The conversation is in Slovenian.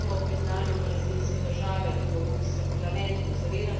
Zavedam se občutljivosti, kot tudi nujnosti modrih potez.